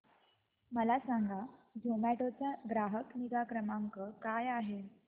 मला सांगा झोमॅटो चा ग्राहक निगा क्रमांक काय आहे